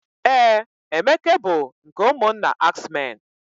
Ee, Emeke bụ nke ụmụnna ax men.